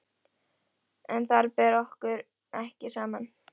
En þar ber okkur ekki saman.